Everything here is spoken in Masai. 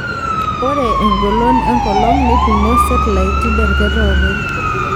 Ore engolon enkolong neipimo setilait derekt oopeny.